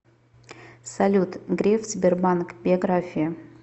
салют греф сбербанк биография